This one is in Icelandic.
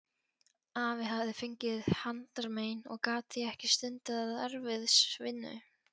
Afi hafði fengið handarmein og gat því ekki stundað erfiðisvinnu.